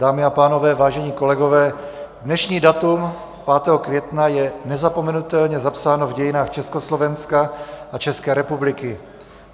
Dámy a pánové, vážení kolegové, dnešní datum, 5. května, je nezapomenutelně zapsáno v dějinách Československa a České republiky.